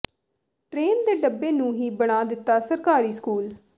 train ਦੇ ਡੱਬੇ ਨੂੰ ਹੀ ਬਣਾ ਦਿੱਤਾ ਸਰਕਾਰੀ ਸਕੂਲ